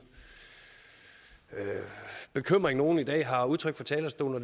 den bekymring nogle i dag har udtrykt fra talerstolen og